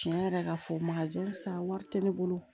Tiɲɛ yɛrɛ ka fɔ wari tɛ ne bolo